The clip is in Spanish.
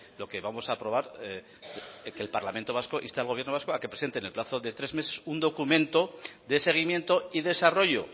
lo que vamos a aprobar que el parlamento vasco inste al gobierno vasco a que presente en el plazo de tres meses un documento de seguimiento y desarrollo